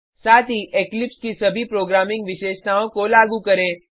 साथ ही इक्लिप्स की सभी प्रोग्रामिंग विशेषताओं को लागू करें